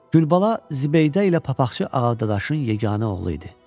Gülbala Zibeydə ilə papaqçı Ağadadaşın yeganə oğlu idi.